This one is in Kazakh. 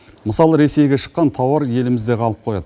мысалы ресейге шыққан тауар елімізде қалып қояды